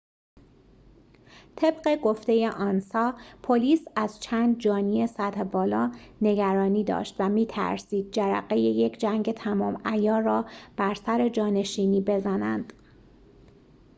طبق گفته آنسا پلیس از چند جانی سطح بالا نگرانی داشت و می‌ترسید جرقه یک جنگ تمام‌عیار را بر سر جانشینی بزنند